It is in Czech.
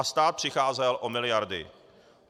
A stát přicházel o miliardy.